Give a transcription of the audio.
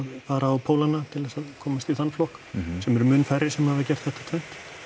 fara á til þess að komast í þann flokk sem eru mun færri sem hafa gert þetta tvennt